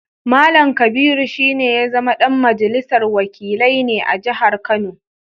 Mallam Kabiru shi ne ya zama ɗan majalisar wakilai ne a jihar Kano